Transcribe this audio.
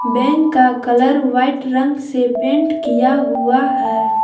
Bank का colour white रंग से पेंट किया हुआ है।